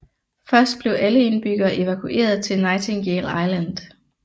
Først blev alle indbyggere evakueret til Nightingale Island